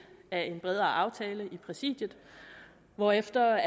af en bredere aftale i præsidiet hvorefter